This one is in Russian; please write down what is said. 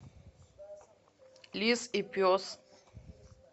лис и пес